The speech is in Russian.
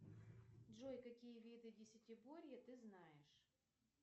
джой какие виды десятиборья ты знаешь